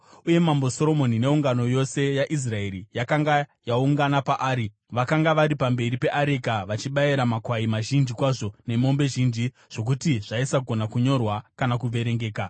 uye Mambo Soromoni neungano yose yaIsraeri yakanga yaungana paari vakanga vari pamberi peareka vachibayira makwai mazhinji kwazvo nemombe zhinji zvokuti zvaisagona kunyorwa kana kuverengeka.